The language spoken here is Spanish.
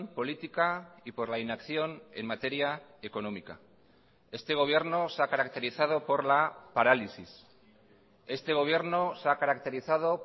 política y por la inacción en materia económica este gobierno se ha caracterizado por la parálisis este gobierno se ha caracterizado